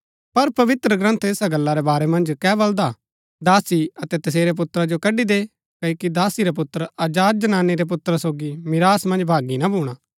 पर पवित्रग्रन्थ ऐसा गल्ला रै बारै मन्ज कै बलदा हा दासी अतै तसेरै पुत्रा जो कड़ी दे क्ओकि दासी रा पुत्र आजाद जनानी रै पुत्रा सोगी मिरास मन्ज भागी ना भूणा